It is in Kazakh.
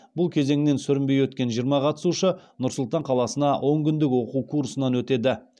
бұл кезеңінен сүрінбей өткен жиырма қатысушы нұр сұлтан қаласында он күндік оқу курсынан өтеді